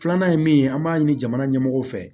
Filanan ye min ye an b'a ɲini jamana ɲɛmɔgɔw fɛ